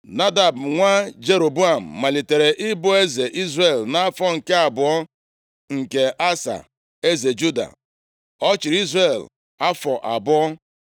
Nadab, nwa Jeroboam, malitere ịbụ eze Izrel, nʼafọ nke abụọ nke Asa, eze Juda. Ọ chịrị Izrel afọ abụọ.